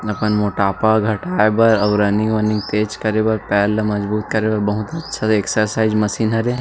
अपन मोटापा घटाए बर और रनिंग वनीनग तेज करे बर पैर ल मजबूत करे बर बहुत अच्छा एक्सर्साइज़ मशीन हरे।